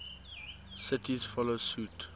cities follow suit